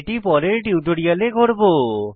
এটি পরের টিউটোরিয়ালে করব